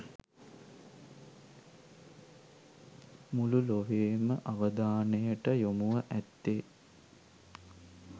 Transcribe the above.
මුළු ලොවේම අවධානයට යොමුව ඇත්තේ